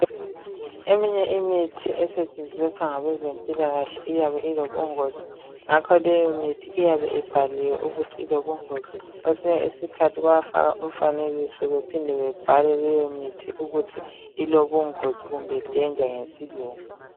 Eminye imithi esetshenziswa ngabezempilakahle iyabe ilobungozi Ngakho leyomithi iyabe ibhaliwe ukuthi ilobungozi .Kwesinye isikhathi bayafaka umfanekiso bephinde bebhale leyo mithi ukuthi ilobungozi kumbe danger ngesilungu.